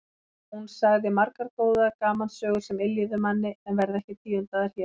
Hún sagði margar góðar gamansögur sem yljuðu manni en verða ekki tíundaðar hér.